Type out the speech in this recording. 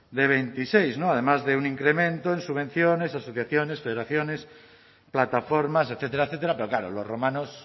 de veintiséis no además de un incremento en subvenciones asociaciones federaciones plataformas etcétera etcétera pero claro los romanos